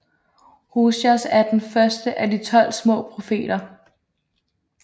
Hoseas er den første af De tolv små profeter